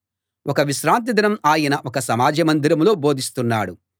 ఒక విశ్రాంతి దినం ఆయన ఒక సమాజ మందిరంలో బోధిస్తున్నాడు